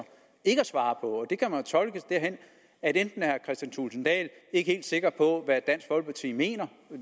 ikke at svare på det kan man tolke derhen at enten er kristian thulesen dahl ikke helt sikker på hvad dansk folkeparti mener